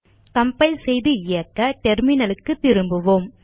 compile செய்து இயக்க terminal க்கு திரும்புவோம்